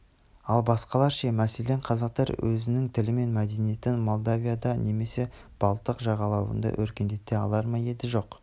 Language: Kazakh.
ал басқалар ше мәселен қазақтар өзінің тілі мен мәдениетін молдавияда немесе балтық жағалауында өркендете алар ма еді жоқ